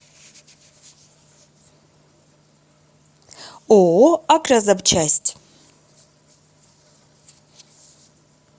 ооо агрозапчасть